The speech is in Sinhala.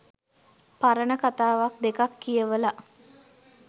පරණ කතාවක් දෙකක් කියවල